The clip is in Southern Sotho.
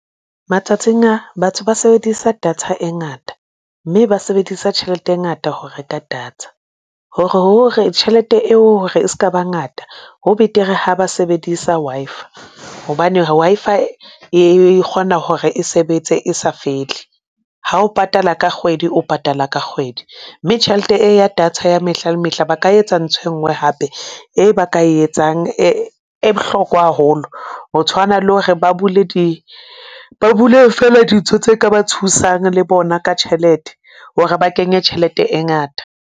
Matsatsing a, batho ba sebedisa data e ngata mme ba sebedisa tjhelete e ngata ho reka data hore tjhelete eo ho re e s'kaba ngata ho betere ha ba sebedisa Wi-Fi hobane Wi-Fi e kgona hore e sebetse e sa fele. Ha o patala ka kgwedi, o patala ka kgwedi, mme tjhelete e ya data ya mehla le mehla ba ka etsa ntsho e nngwe hape e ba ka e etsang e bohlokwa haholo ho tshwana le hore ba bule di ba bule fela dintho tse ka ba thusang le bona ka tjhelete hore ba kenye tjhelete e ngata.